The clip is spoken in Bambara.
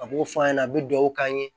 A b'o f'a ɲɛna a bɛ duwawu k'an ye